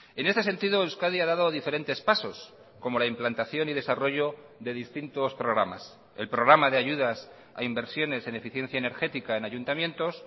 en este sentido euskadi ha dado diferentes pasos como la implantación y desarrollo de distintos programas el programa de ayudas a inversiones en eficiencia energética en ayuntamientos